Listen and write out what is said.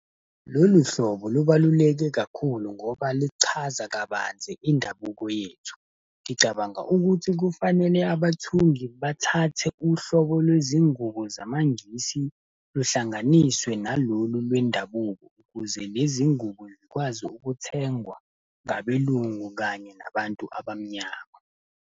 Lolu hlobo lubaluleke kakhulu ngoba lichaza kabanzi indabuko yethu. Ngicabanga ukuthi kufanele abathungi bathathe uhlobo lwezingubo zamaNgisi, luhlanganiswe nalolu lwendabuko, ukuze lezi ngubo zikwazi ukuthengwa ngabelungu kanye nabantu abamnyama.